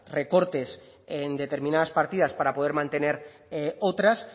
recortes en determinadas partidas para poder mantener otras